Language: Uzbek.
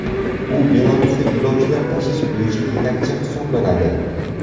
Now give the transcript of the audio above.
U Belarusda yo‘lovchilar tashish bo‘yicha yetakchi hisoblanadi.